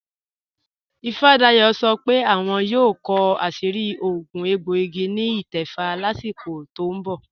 Ìfádàyọ̀ sọ́ pé àwọn yóò kọ àṣìrí òogún ègbòìgì ni ítẹ̀fà láṣíkò tó n bọ̀